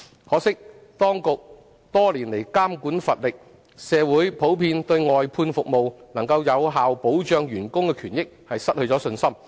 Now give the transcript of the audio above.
可惜當局多年來監管乏力，社會普遍對外判服務能夠有效保障員工的權益失去信心。